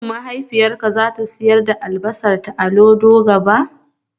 Shin mahaifiyarka za ta sayar da albasarta a Olodo gaba?